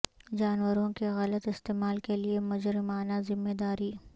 جانوروں کے غلط استعمال کے لئے مجرمانہ ذمہ داری